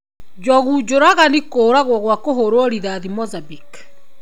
Njogu njũragani kũragwo gua kũhũruo rithati Monzambique.